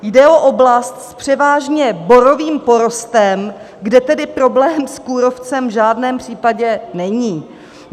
Jde o oblast s převážně borovým porostem, kde tedy problém s kůrovcem v žádném případě není.